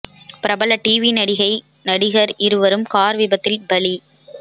பிரபல டிவி நடிகை நடிகர் இருவரும் கார் விபத்தில் பலி